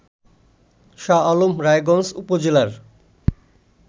শাহআলম রায়গঞ্জ উপজেলার